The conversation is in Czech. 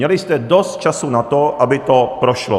Měli jste dost času na to, aby to prošlo.